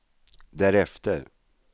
därefter